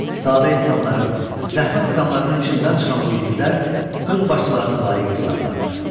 Sadə insanların, zəhmət adamlarının içindən çıxan bu igidlər öz başçılarına layiq insanlardır.